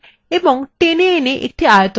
এখন মাউসের বোতাম ছেড়ে দিন